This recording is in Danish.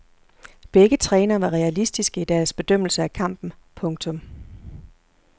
Begge trænere var realistiske i deres bedømmelse af kampen. punktum